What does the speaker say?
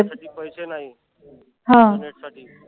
त्याच्यासाठी पैसे नाहीत internet साठी